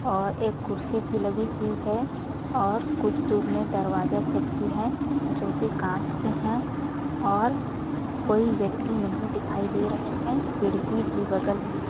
और एक कुर्सी भी लगी हुई है और कुछ दूर में दरवाजा सब भी है जो की काँच के है और कोई व्यक्ति नहीं दिखाई दे रहे है सीढ़ी भी बगल में है।